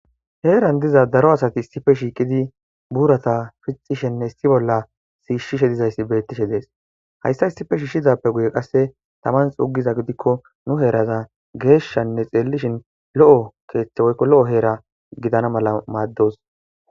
heeran diza daro asati issife shiiqidi buurata fixishenne issi bolla siishshishe dizayssi beettishe dees hayssa issife shiishizappe guye qasse taman xugiza gidikko nu heeraza geeshshanne xeellishin lo7o keeththe woykko lo7o heera gidana mala maaddos